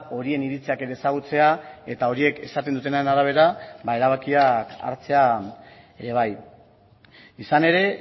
horien iritziak ezagutzea eta horiek esaten dutenen arabera erabakiak hartzea ere bai izan ere